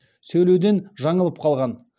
сөйлеуден жаңылып қалған